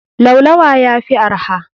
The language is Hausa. Laulawa yafi arha.